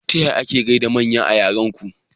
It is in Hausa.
Taya ake gaida manya a yaran ku?